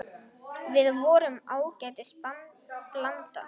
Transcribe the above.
Við vorum ágætis blanda.